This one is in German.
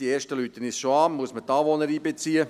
Die ersten rufen uns schon an .